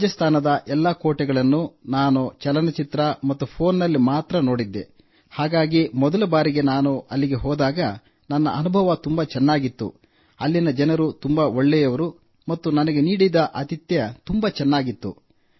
ರಾಜಸ್ಥಾನದ ಈ ಎಲ್ಲಾ ಕೋಟೆಗಳನ್ನು ನಾನು ಚಲನ ಚಿತ್ರ ಮತ್ತು ಫೋನ್ನಲ್ಲಿ ಮಾತ್ರ ನೋಡಿದ್ದೆ ಹಾಗಾಗಿ ಮೊದಲ ಬಾರಿಗೆ ನಾನು ಹೋದಾಗ ನನ್ನ ಅನುಭವ ತುಂಬಾ ಚೆನ್ನಾಗಿತ್ತು ಅಲ್ಲಿನ ಜನರು ತುಂಬಾ ಒಳ್ಳೆಯವರು ಮತ್ತು ನಮಗೆ ನೀಡಿದ ಆತಿಥ್ಯ ತುಂಬಾ ಚೆನ್ನಾಗಿತ್ತು